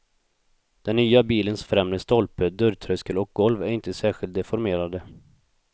Den nya bilens främre stolpe, dörrtröskel och golv är inte särskilt deformerade.